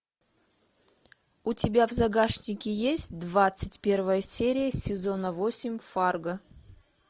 у тебя в загашнике есть двадцать первая серия сезона восемь фарго